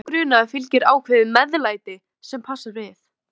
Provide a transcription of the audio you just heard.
með hverjum grunni fylgir ákveðið MEÐLÆTI sem passar við.